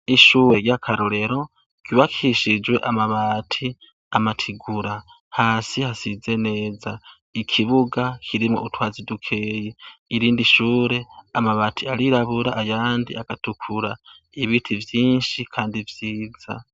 Ishure ry'akarorero ryubakijwe amabati, amatigura, hasi hasize neza. Ikibuga kirimwo utwatsi dukeya. Irindi shure, amabati arirabura ayandi agatukura. Ibiti vyinshi kandi vyiza.